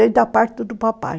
da parte do papai.